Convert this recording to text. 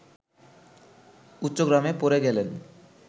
উচ্চগ্রামে পড়ে গেলেন